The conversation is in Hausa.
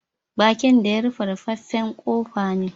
Bakin da ya rufe, ruffafen kofa ne.